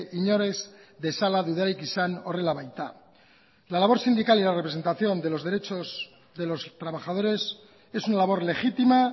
inor ez dezala dudarik izan horrela baita la labor sindical y la representación de los derechos de los trabajadores es una labor legítima